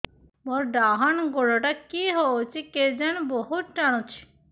ମୋର୍ ଡାହାଣ୍ ଗୋଡ଼ଟା କି ହଉଚି କେଜାଣେ ବହୁତ୍ ଟାଣୁଛି